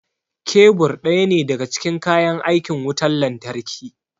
Kebur ɗaya ne daga cikin kayan aikin wutar lantarki